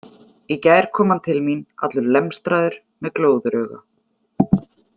Í gær kom hann til mín, allur lemstraður, með glóðarauga.